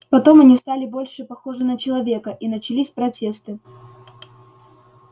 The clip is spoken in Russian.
потом они стали больше похожи на человека и начались протесты